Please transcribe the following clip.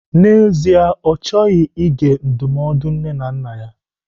N'ezie, Ọ chọghị ige ndụmọdụ nne na nna ya.